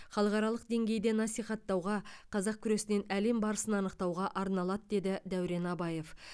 халықаралық деңгейде насихаттауға қазақ күресінен әлем барысын анықтауға арналады деді дәурен абаев